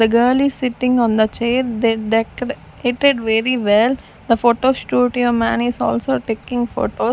the girl is sitting on the chair they decora-ated very well the photo studio man is also taking photo.